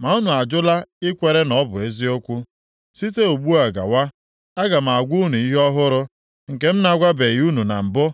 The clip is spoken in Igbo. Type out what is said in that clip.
ma unu ajụla ikwere na ọ bụ eziokwu. “Site ugbu a gawa, aga m agwa unu ihe ọhụrụ nke m na-agwabeghị unu na mbụ.